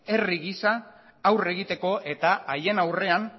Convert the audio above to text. herri gisa aurre egiteko eta haien aurrean